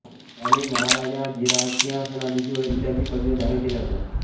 त्याने महाराजाधिराज सिंहासनाधीश्वर इत्यादी पदव्या धारण केल्या होत्या